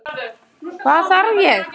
Hvað þarf ég?